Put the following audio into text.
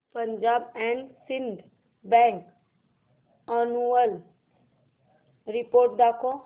Punjab and Sind Bank annual report दाखव